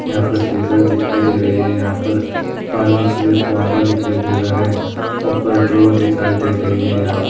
यहाँ पर सीज़र दिखाई देरही है यहाँ पर पानी केलिए फुवारा दिखाई देरहा है ऊपर ड्रा दिखाई देरही है और --